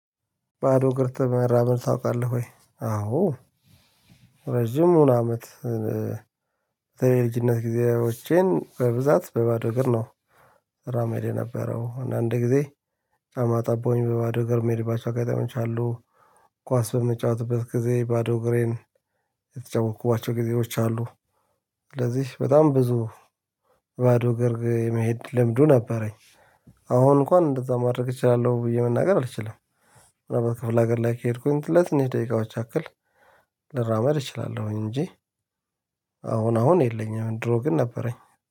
ባዶ እግር መራመድ ታውቃለህ ወይ? አዎ ረጅሙን አመት የልጅነት ጊዜዎቼን በብዛት በባዶ ነገር ነው። እራመድ የነበረው አንዳንድ ጊዜ ጫማ ጠቦኝ በባዶ እግር የምሄድባቸው አጋጣሚዎች አሉ። ኳስ በምጫወትበት ጊዜ ባዶ እግሬን የተጫወትኩባቸው ጊዜዎች አሉ። ስለዚህ በጣም ብዙ ባዶ እግር የመሄድ ልምዱ ነበረኝ። አሁን እንኳን እንደዛ ማድረግ እችላለሁ ብዬ መናገር አልችልም። በክፍለ ሀገር ላይ ከሄድኩኝ ለትንሽ ደቂቃዎች ያክል ልራመድ እችላለሁ እንጂ። አሁን አሁን የለኝም ድሮ ግን ነበረኝ